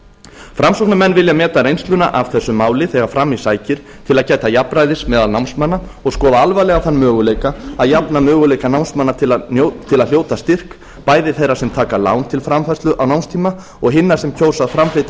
framsóknarmenn vilja meta reynsluna af þessu máli þegar fram í sækir til að gæta jafnræðis meðal námsmanna og skoða alvarlega þann möguleika að jafna möguleika námsmanna til þess að hljóta styrk bæði þeirra sem taka lán til framfærslu á námstíma og hinna sem kjósa að framfleyta